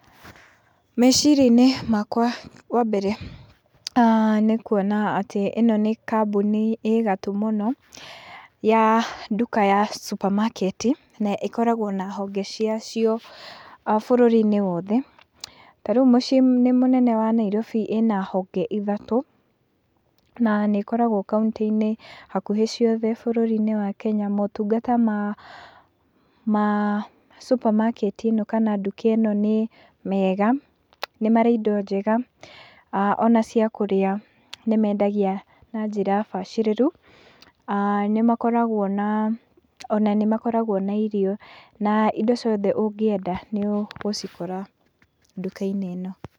Meciria-inĩ makwa wambere, nĩ kuona atĩ ĩno nĩ kambuni ĩ gatũ mũno, ya nduka ya supermarket naĩkoragwo na honge cia cio bũrũri-inĩ wothe, ta rĩu mũciĩ-inĩ mũnene wa Nairobi ĩna honge ithatũ, na nĩĩkoragwo kauntĩ-inĩ hakuhĩ ciothe bũrũri-inĩ wa Kenya ,motungata ma supermarket ĩno, kana nduka ĩno nĩ mega, nĩ marĩ indo njega, ona cia kũrĩa nĩmendagia na njĩra bacĩrĩru, nĩmakoragwo na, ona nĩmakoragwo na irio, na indo ciothe ũngĩenda nĩũgũcikora nduka-inĩ ĩno